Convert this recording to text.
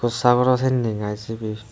o sagoro sanne na sibe.